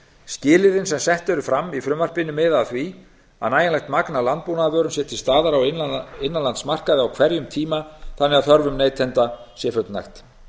skilyrðin sem sett eru fram í frumvarpinu miða að því að nægjanlegt magn af landbúnaðarvörum sé til staðar á innanlandsmarkaði á hverjum tíma þannig að þörfum neytenda sé fullnægt